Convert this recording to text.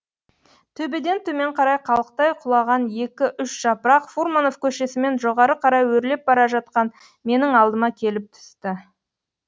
төбеден төмен қарай қалықтай құлаған екі үш жапырақ фурманов көшесімен жоғары қарай өрлеп бара жатқан менің алдыма келіп түсті